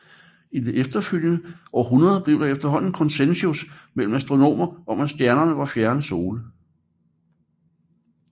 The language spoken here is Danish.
I det efterfølgende århundrede blev der efterhånden konsensus imellem astronomer om at stjernerne var fjerne sole